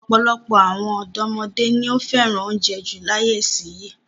Ọ̀pọ̀lọpọ̀ àwọn ọ̀dọ́mọdé ni ó fẹ́ràn oúnjẹ jù láyé ìsìnyín.